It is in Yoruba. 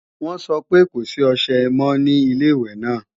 Wọ́n sọ pé kò sí ọṣẹ mọ́ ní Ilé-ìwẹ̀ náà